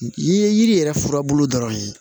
I ye yiri yɛrɛ furabulu dɔrɔn ye